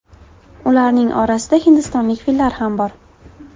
Ularning orasida hindistonlik fillar ham bor.